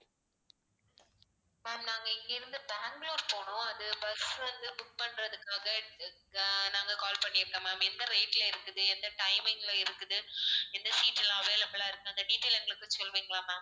ma'am நாங்க இங்கிருந்து பெங்களூரு போனும் அது bus வந்து book பண்றதுக்காக அஹ் நாங்க call பண்ணியிருந்தோம் ma'am எந்த rate ல இருக்குது எந்த timing ல இருக்குது எந்த seat எல்லாம் available ஆ இருக்குது அந்த detail எங்களுக்கு சொல்லுவீங்களா ma'am